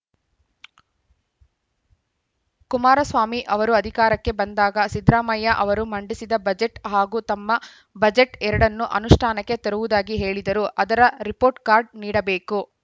ಕುಮಾರಸ್ವಾಮಿ ಅವರು ಅಧಿಕಾರಕ್ಕೆ ಬಂದಾಗ ಸಿದ್ದರಾಮಯ್ಯ ಅವರು ಮಂಡಿಸಿದ ಬಜೆಟ್‌ ಹಾಗೂ ತಮ್ಮ ಬಜೆಟ್‌ ಎರಡನ್ನೂ ಅನುಷ್ಠಾನಕ್ಕೆ ತರುವುದಾಗಿ ಹೇಳಿದ್ದರು ಅದರ ರಿಪೋರ್ಟ್‌ ಕಾರ್ಡ್‌ ನೀಡಬೇಕು